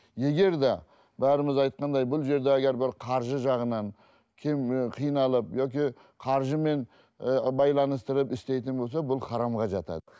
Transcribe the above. егер де бәріміз айтқандай бұл жерде егер бір қаржы жағынан қиналып яки қаржымен ы байланыстырып істейтін болса бұл харамға жатады